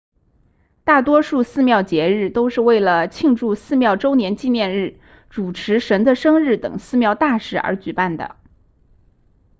大多数寺庙节日都是为了庆祝寺庙周年纪念日主持神的生日等寺庙大事而举办的